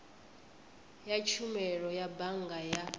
ya tshumelo ya bannga ya